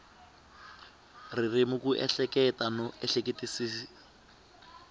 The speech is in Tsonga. ririmi ku ehleketa no ehleketisisa